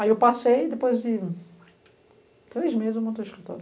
Aí eu passei e depois de três meses eu montei o escritório.